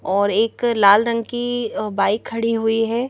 और एक लाल रंग की बाइक खड़ी हुई है।